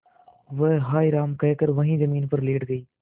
वह हाय राम कहकर वहीं जमीन पर लेट गई